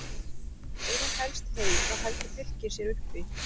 Ef hún helst heil þá heldur Fylkir sér uppi.